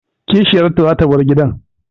Kishiyarta zata bar gidan